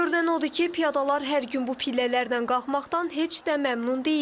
Görünən odur ki, piyadalar hər gün bu pillələrlə qalxmaqdan heç də məmnun deyillər.